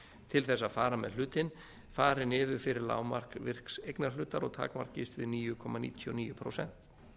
til þess að fara með hlutinn fari niður fyrir lágmark virks eignarhlutar og takmarkist við níu komma níutíu og níu prósent